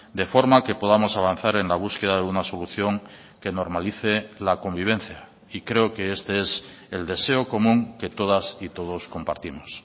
de forma que podamos avanzar en la búsqueda de una solución que normalice la convivencia y creo que este es el deseo común que todas y todos compartimos